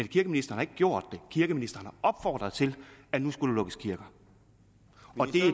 kirkeministeren ikke gjort kirkeministeren har opfordret til at der skulle lukkes kirker